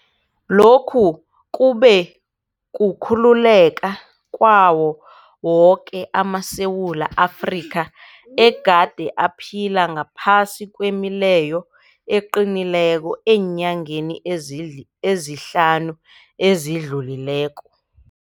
Lokhu kube kukhululeka kwawo woke amaSewula Afrika egade aphila ngaphasi kwemileyo eqinileko eenyangeni ezihlanu ezidlulileko.